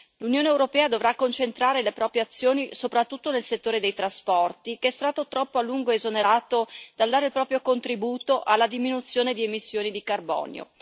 L'Unione europea dovrà concentrare le proprie azioni soprattutto nel settore dei trasporti, che è stato troppo a lungo esonerato dal dare il proprio contributo alla diminuzione di emissioni di carbonio.